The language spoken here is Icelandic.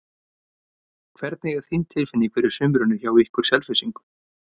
Hvernig er þín tilfinning fyrir sumrinu hjá ykkur Selfyssingum?